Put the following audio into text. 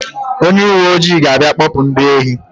Onye uwe ojii ga-abịa kpọpụ ndị ohi.